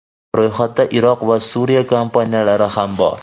Ro‘yxatda Iroq va Suriya kompaniyalari ham bor.